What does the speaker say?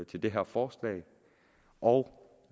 til det her forslag og